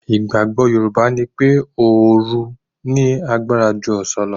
Ìgbàgbọ́ Yorùbá ni pé òòru ní agbára ju ọ̀sán lọ.